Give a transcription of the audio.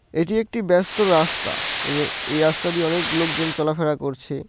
এইটি একটি ব্যস্ত রাস্তা। এনে এই রাস্তা দিয়ে অনেক লোকজন চলাফেরা করছে।